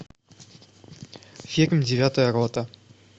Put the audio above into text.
фильм девятая рота